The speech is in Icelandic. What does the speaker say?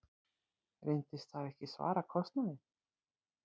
Reyndist það ekki svara kostnaði.